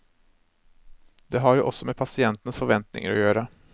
Det har jo også med pasientenes forventninger å gjøre.